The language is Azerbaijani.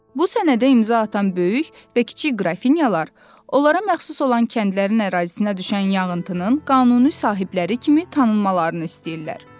Bu sənədə imza atan böyük və kiçik qrafinyalar, onlara məxsus olan kəndlərin ərazisinə düşən yanğıtının qanuni sahibləri kimi tanınmalarını istəyirlər.